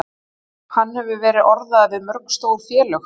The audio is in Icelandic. Hann hefur verið orðaður við mörg stór félög.